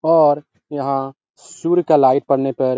और यहाँ सूर्य का लाइट पड़ने पर --